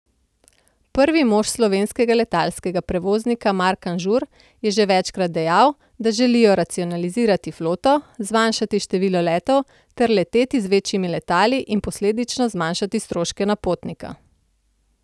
Prvi mož slovenskega letalskega prevoznika Mark Anžur je že večkrat dejal, da želijo racionalizirati floto, zmanjšati število letov ter leteti z večjimi letali in posledično zmanjšati stroške na potnika.